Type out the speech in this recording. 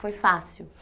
Foi fácil?